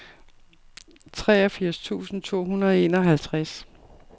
treogfirs tusind to hundrede og enoghalvtreds